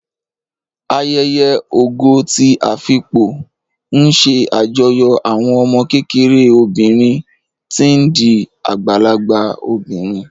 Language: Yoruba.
Ayẹyẹ Ògo ti Afipò ń ṣe àjọyọ̀ àwọn ọmọ kékeré obìnrin tí ń di àgbàlagbà obìnrin